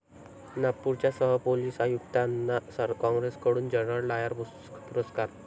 नागपूरच्या सहपोलीस आयुक्तांना काँग्रेसकडून 'जनरल डायर' पुरस्कार